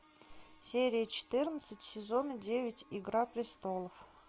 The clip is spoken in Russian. серия четырнадцать сезона девять игра престолов